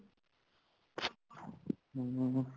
ਹੁੰਮ